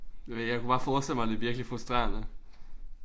Jeg ved ikke jeg kunne bare forestille mig det er virkelig frustrerende